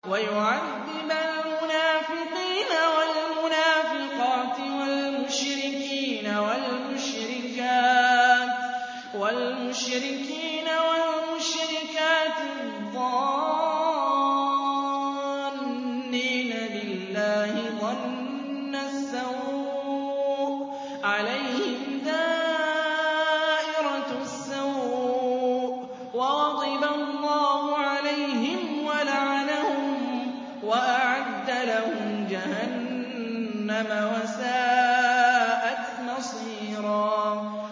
وَيُعَذِّبَ الْمُنَافِقِينَ وَالْمُنَافِقَاتِ وَالْمُشْرِكِينَ وَالْمُشْرِكَاتِ الظَّانِّينَ بِاللَّهِ ظَنَّ السَّوْءِ ۚ عَلَيْهِمْ دَائِرَةُ السَّوْءِ ۖ وَغَضِبَ اللَّهُ عَلَيْهِمْ وَلَعَنَهُمْ وَأَعَدَّ لَهُمْ جَهَنَّمَ ۖ وَسَاءَتْ مَصِيرًا